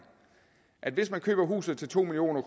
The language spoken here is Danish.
at hvis man køber huset til to million